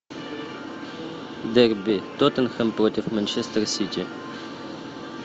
дерби тоттенхэм против манчестер сити